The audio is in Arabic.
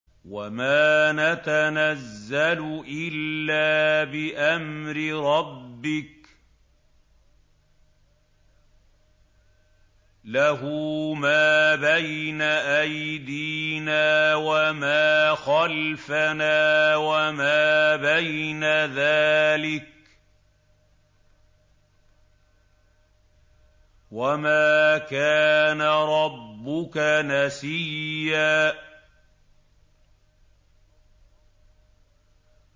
وَمَا نَتَنَزَّلُ إِلَّا بِأَمْرِ رَبِّكَ ۖ لَهُ مَا بَيْنَ أَيْدِينَا وَمَا خَلْفَنَا وَمَا بَيْنَ ذَٰلِكَ ۚ وَمَا كَانَ رَبُّكَ نَسِيًّا